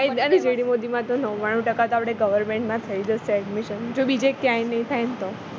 GD Modi માં તો નવાણું ટકા તો આપણે તો government માં થઈ જશે admission જો બીજે ક્યાંય નહિ થાય ને તો